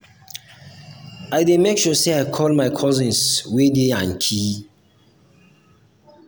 i dey make sure sey i call my cousins wey dey yankee.